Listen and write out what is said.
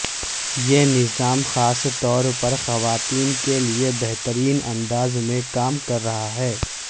یہ نظام خاص طور پر خواتین کے لیے بہترین انداز میں کام کر رہا ہے